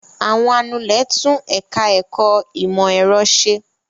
Àwọn anulẹ̀ tún ẹ̀ka-ẹ̀kọ́ ìmọ̀-ẹ̀rọ ṣe.